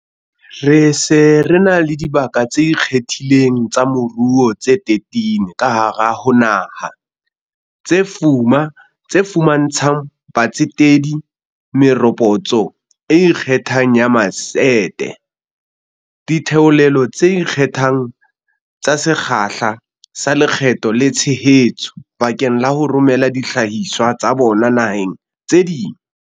Re se re na le dibaka tse ikgethileng tsa moruo tse 13 ka hare ho naha, tse fuma ntshang batsetedi meropotso e ikgethang ya matsete, ditheolelo tse ikgethang tsa sekgahla sa lekgetho le tshehetso bakeng la ho romela dihlahiswa tsa bona naheng tse ding.